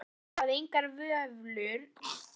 Ráðsmaður hafði engar vöflur á, fékk